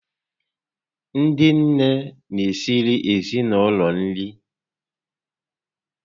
Ndị nné n'esiri ezinaụlọ nri